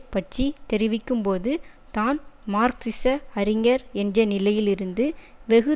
பற்றி தெரிவிக்கும்போது தான் மார்க்சிச அறிஞர் என்ற நிலையிலிருந்து வெகு